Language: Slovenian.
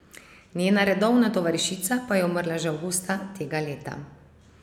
Njena redovna tovarišica pa je umrla že avgusta tega leta.